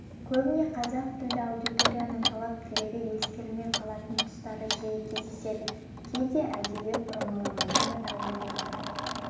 көбіне қазақ тілді аудиторияның талап-тілегі ескерілмей қалатын тұстар жиі кездеседі кейде әдейі бұрмалайтыны да орын алады